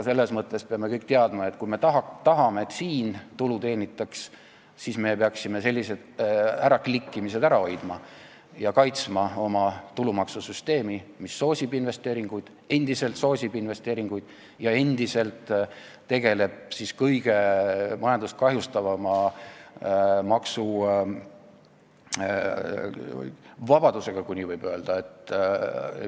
Me peame kõik teadma, et kui me tahame, et siin tulu teenitaks, siis me peaksime sellised äraklikkimised ära hoidma ja kaitsma oma tulumaksusüsteemi, mis endiselt soosib investeeringuid ja endiselt tegeleb majandust kõige vähem kahjustava maksuvabadusega, kui nii võib öelda.